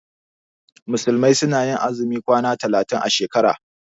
Musulmai su na yin azumin kwana talatin a shekara